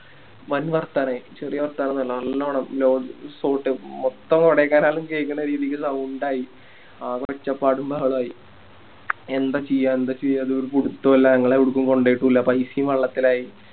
വൻ വർത്തനായി ചെറിയ വർത്തനോന്നല്ല നല്ലോണം Resort മൊത്തം കൊടൈക്കനാല് കേക്കണ രീതിക്ക് Sound ആയി ആകെ ഒച്ചപ്പാടും ബഹളായി എന്താ ചെയ്യാ എന്താ ചെയ്യാന്ന് ഒരു പിടിത്തൊല്ല ഞങ്ങളെ എവിടേക്കും കൊണ്ടോയിട്ടില്ല പൈസയും വെള്ളത്തിലായി